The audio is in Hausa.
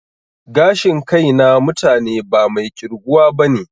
Gashin kai na mutane ba mai ƙirguwa bane